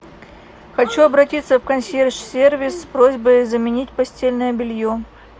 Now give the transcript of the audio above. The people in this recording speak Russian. хочу обратиться в консьерж сервис с просьбой заменить постельное белье